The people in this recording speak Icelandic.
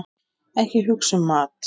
Ekki hugsa um mat!